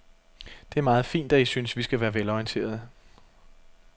Det er meget fint, at I synes, vi skal være velorienterede.